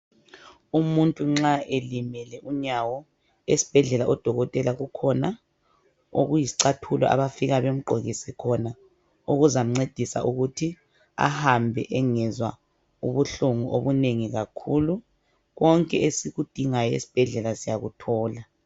Umuntu nxa elimele unyawo esibhedlela odokotela kukhona okuyisicathulo abafika bemgqokise khona okuzamncedisa ukuthi ahambe engazwa ubuhlungu obunengi kakhulu. Konke esikudingayo esibhedlela siyakuthola.